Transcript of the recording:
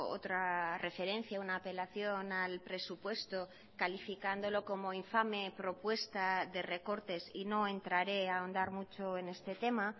otra referencia a una apelación al presupuesto calificándolo como infame propuesta de recortes y no entraré a ahondar mucho en este tema